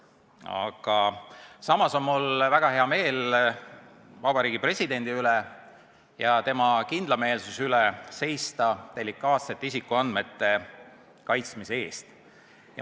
Aga samas on mul väga hea meel Vabariigi Presidendi üle ja tema kindlameelsuse üle seista delikaatsete isikuandmete kaitsmise eest.